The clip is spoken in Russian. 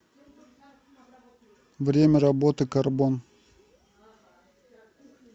время работы карбон